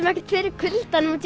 ekkert fyrir kuldanum út